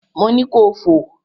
Mo ni kò fò!